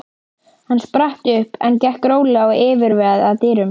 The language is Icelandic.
Hann spratt upp en gekk rólega og yfirvegað að dyrunum.